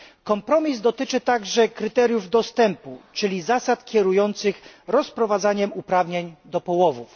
Kompromis dotyczy także kryteriów dostępu, czyli zasad kierujących rozprowadzaniem uprawnień do połowów.